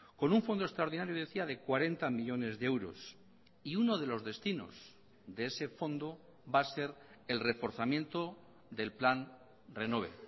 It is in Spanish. con un fondo extraordinario decía de cuarenta millónes de euros y uno de los destinos de ese fondo va a ser el reforzamiento del plan renove